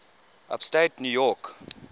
upstate new york